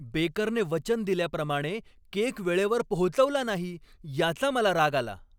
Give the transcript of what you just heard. बेकरने वचन दिल्याप्रमाणे केक वेळेवर पोहोचवला नाही याचा मला राग आला.